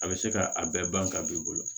A bɛ se ka a bɛɛ ban ka b'i bolo